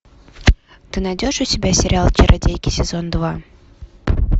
ты найдешь у себя сериал чародейки сезон два